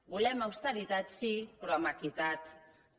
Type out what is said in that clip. volem austeritat sí però amb equitat també